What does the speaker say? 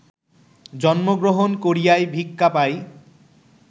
জন্মগ্রহণ করিয়াই ভিক্ষা পাই